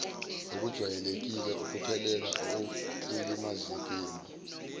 okujwayele ukuphelela ekulimazekeni